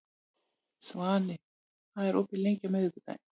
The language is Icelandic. Svani, hvað er opið lengi á miðvikudaginn?